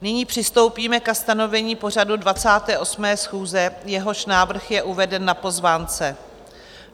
Nyní přistoupíme ke stanovení pořadu 28. schůze, jehož návrh je uveden na pozvánce.